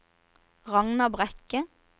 Ragna Brekke